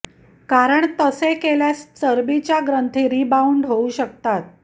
कारण तसे केल्यास चरबीच्या ग्रंथी रिबाउंड होऊ शकतात